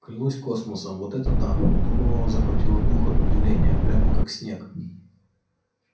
клянусь космосом вот это да у донована захватило дух от удивления прямо как снег